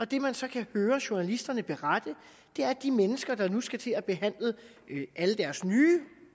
det man så kan høre journalisterne berette er at de mennesker der nu skal til at have behandlet alle deres nye